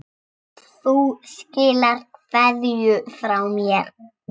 Þú skilar kveðju frá mér.